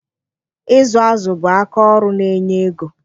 Ịzụ azụ bụ aka ọrụ na-enye ego